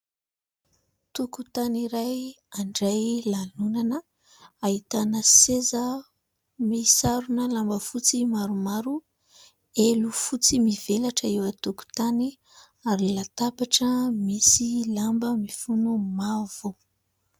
Tokontany iray handray lanonana, ahitana seza misarona lamba fotsy maromaro, elo fotsy mivelatra eo an-tokontany ary latabatra misy lamba mifono mavo.